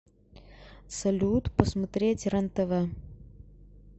салют посмотреть рен тв